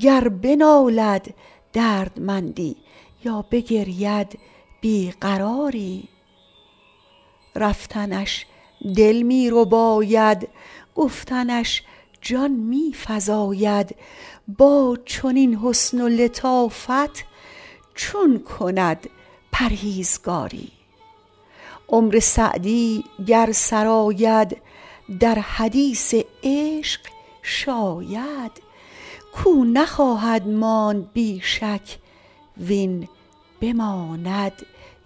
گر بنالد دردمندی یا بگرید بی قراری رفتنش دل می رباید گفتنش جان می فزاید با چنین حسن و لطافت چون کند پرهیزگاری عمر سعدی گر سر آید در حدیث عشق شاید کاو نخواهد ماند بی شک وین بماند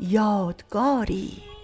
یادگاری